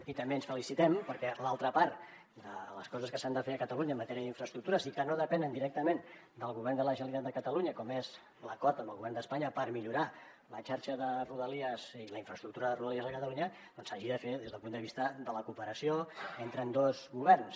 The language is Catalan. i també ens felicitem perquè l’altra part de les coses que s’han de fer a catalunya en matèria d’infraestructures i que no depenen directament del govern de la generalitat de catalunya com és l’acord amb el govern d’espanya per millorar la xarxa de rodalies i la infraestructura de rodalies de catalunya s’hagi de fer des del punt de vista de la cooperació entre ambdós governs